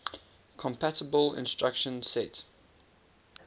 compatible instruction set